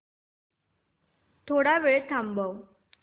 थोडा वेळ थांबव